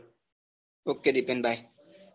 ok Dipen ભાઈ